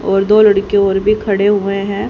और दो लड़कियों और भी खड़े हुए हैं।